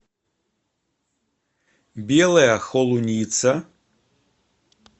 белая холуница